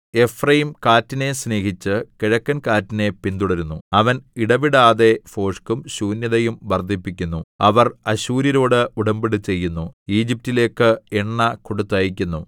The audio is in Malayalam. എഫ്രയീം കാറ്റിനെ സ്നേഹിച്ച് കിഴക്കൻ കാറ്റിനെ പിന്തുടരുന്നു അവൻ ഇടവിടാതെ ഭോഷ്കും ശൂന്യതയും വർദ്ധിപ്പിക്കുന്നു അവർ അശ്ശൂര്യരോട് ഉടമ്പടി ചെയ്യുന്നു ഈജിപ്റ്റിലേക്ക് എണ്ണ കൊടുത്തയയ്ക്കുന്നു